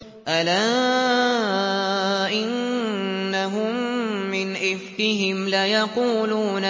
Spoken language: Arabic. أَلَا إِنَّهُم مِّنْ إِفْكِهِمْ لَيَقُولُونَ